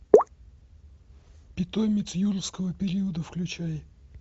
питомец юрского периода включай